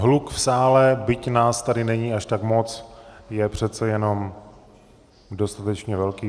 Hluk v sále, byť nás tady není až tak moc, je přece jenom dostatečně velký.